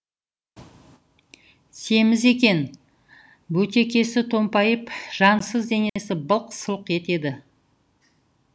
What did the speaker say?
семіз екен бөтекесі томпайып жансыз денесі былқ сылқ етеді